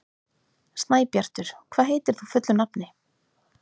Snæbjartur, hvað heitir þú fullu nafni?